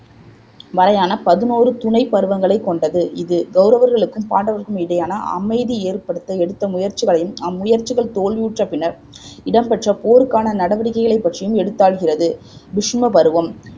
வரையான பதினோரு துணைப் பருவங்களைக் கொண்டது இது கௌரவர்களுக்கும் பாண்டவர்களுக்கும் இடையேயான அமைதி ஏற்படுத்த எடுத்த முயற்சிகளையும் அம்முயற்சிகள் தோல்வியுற்ற பின்னர் இடம்பெற்ற போருக்கான நடவடிக்கைகளை பற்றியும் எடுத்தாள்கிறது பிசும பருவம்